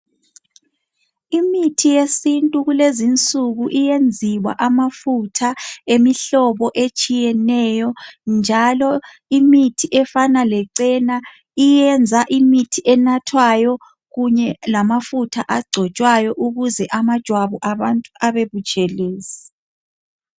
Imithi yesintu kulezinsuku iyenziwa amafuta emihlobo etshiyeneyo njalo imithi efana lecena iyenza imithi enathwayo kunye lamafuta agcotshwayo ukuze amajwabu abantu abe butshelezi.